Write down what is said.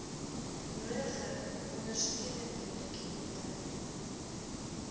nodige ondersteunende dokumente